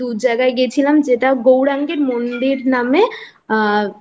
জায়গায় গেছিলাম যেটা গৌরাঙ্গের মন্দির নামে